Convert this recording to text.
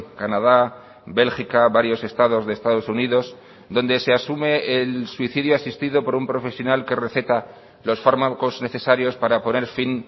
canadá bélgica varios estados de estados unidos donde se asume el suicidio asistido por un profesional que receta los fármacos necesarios para poner fin